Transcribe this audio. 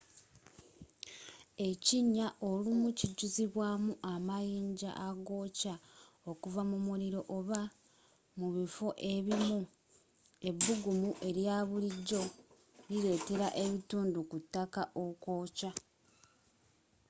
ekinnya olumu kijuzibwamu amayinza agookya okuva mu muliro oba mu bifo ebimu ebbugumu elyabulijjo liletera ebitundu ku ttaka okwokya